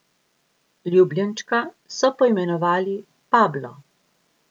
Ljubljenčka so poimenovali Pablo.